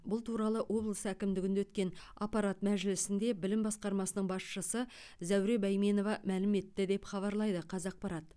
бұл туралы облыс әкімдігінде өткен аппарат мәжілісінде білім басқармасының басшысы зәуре бәйменова мәлім етті деп хабарлайды қазақпарат